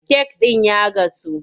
Kek ɗin ya gasu,